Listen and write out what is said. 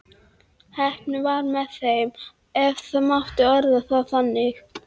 Heppnin var með þeim ef það mátti orða það þannig.